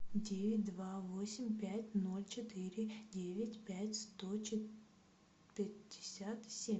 девять два восемь пять ноль четыре девять пять сто пятьдесят семь